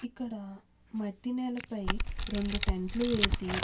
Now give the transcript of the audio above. ఇక్కడ మట్టి నేలపై రెండు టెంట్ లు వేసి --